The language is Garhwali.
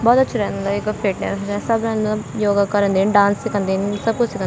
बोहत अछू रेंद मलब यख फिटनेस उट्नेस सब रेंद योगा करन्दीन डांस सिखंदीन सब कुछ सिखं --